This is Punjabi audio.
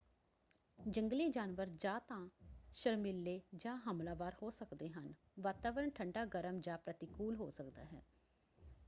ਜੰਗਲੀ ਜਾਨਵਰ ਜਾਂ ਤਾਂ ਸ਼ਰਮੀਲੇ ਜਾਂ ਹਮਲਾਵਰ ਹੋ ਸਕਦੇ ਹਨ। ਵਾਤਾਵਰਣ ਠੰਡਾ ਗਰਮ ਜਾਂ ਪ੍ਰਤੀਕੂਲ ਹੋ ਸਕਦਾ ਹੈ।